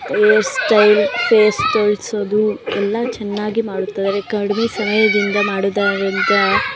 Hair style face ತೋಳಸೋದು ಎಲ್ಲ ಚನ್ನಾಗಿ ಮಾಡುತ್ತಾರೆ ಕಡಿಮೆ ಸಹಾಯದಿಂದ ಮಾಡಿದರಂತೆ.